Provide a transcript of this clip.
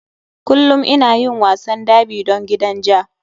Kullum ina yin wasan derby don gidan ja.